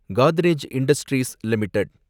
Godrej industries limited